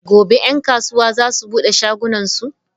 Gobe ​​'yan kasuwa za su bude shagonsu?